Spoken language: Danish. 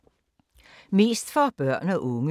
Mest for børn og unge